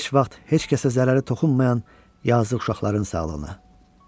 Heç vaxt heç kəsə zərəri toxunmayan yazıq uşaqların sağlığına.